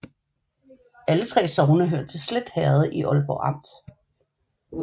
Alle 3 sogne hørte til Slet Herred i Aalborg Amt